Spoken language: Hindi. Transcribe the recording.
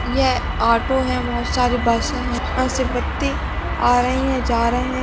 यह ऑटो है बहुत सारी बस्से है यहाँ से आ रही हे जा रहे है।